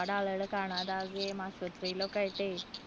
ഒരുപാട് ആളുകളെ കാണാതായിട്ട് ആശുപത്രിയിൽ ഒക്കേ